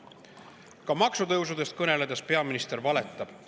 Ka maksutõusudest kõneledes peaminister valetab.